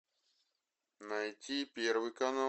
найти первый канал